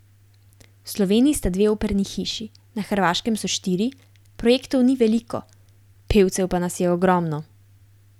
V Sloveniji sta dve operni hiši, na Hrvaškem so štiri, projektov ni veliko, pevcev pa nas je ogromno.